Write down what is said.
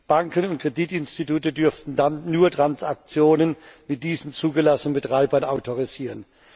Banken und Kreditinstitute dürften dann nur Transaktionen mit diesen zugelassenen Betreibern autorisieren.